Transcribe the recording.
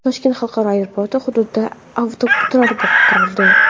Toshkent xalqaro aeroport hududida avtoturargoh qurildi.